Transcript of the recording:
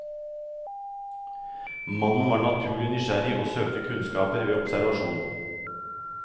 Mannen var naturlig nysgjerrig og søkte kunnskaper ved observasjon.